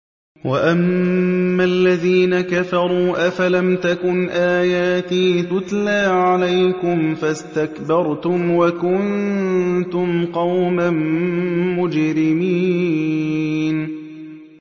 وَأَمَّا الَّذِينَ كَفَرُوا أَفَلَمْ تَكُنْ آيَاتِي تُتْلَىٰ عَلَيْكُمْ فَاسْتَكْبَرْتُمْ وَكُنتُمْ قَوْمًا مُّجْرِمِينَ